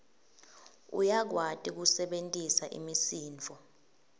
uyakwati kusebentisa imisindvo